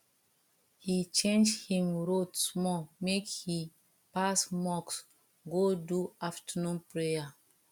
he change him road small make he pass mosque go do afternoon prayer